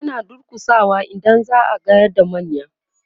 ana durkusawa idan za'a gayar da manya